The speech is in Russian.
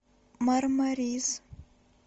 мармарис